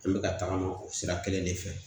An bɛ ka tagama o sira kelen de fɛ